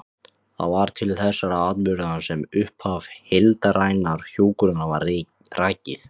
Það var til þessara atburða sem upphaf heildrænnar hjúkrunar var rakið.